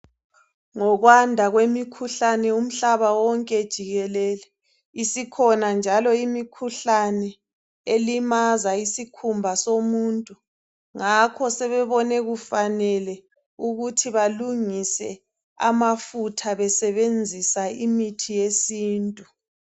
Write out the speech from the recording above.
Ngokwanda kwemikhuhlane umhlaba wonke jikelele isikhona njalo imikhuhlane elimaza isikhumba somuntu ngakho sebebone kufanele ukuthi balungise amafutha besebenzisa imithi yesintu.